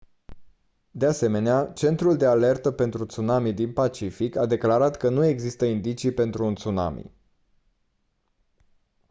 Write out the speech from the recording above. de asemenea centrul de alertă pentru tsunami din pacific a declarat că nu există indicii pentru un tsunami